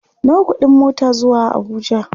Nawa kuɗin mota zuwa Abuja?